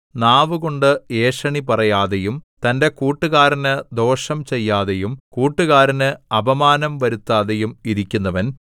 നാവുകൊണ്ട് ഏഷണി പറയാതെയും തന്റെ കൂട്ടുകാരന് ദോഷം ചെയ്യാതെയും കൂട്ടുകാരന് അപമാനം വരുത്താതെയും ഇരിക്കുന്നവൻ